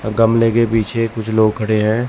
अ गमले के पीछे कुछ लोग खड़े हैं।